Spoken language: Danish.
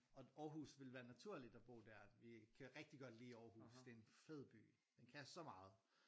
Og Aarhus ville være naturligt at bo dér vi kan rigtig godt lide Aarhus det er en fed by den kan så meget